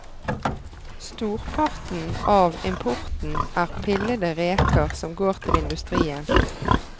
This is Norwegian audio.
Storparten av importen er pillede reker som går til industrien.